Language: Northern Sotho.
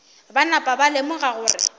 ba napa ba lemoga gore